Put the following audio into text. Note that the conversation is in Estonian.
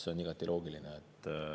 See on igati loogiline.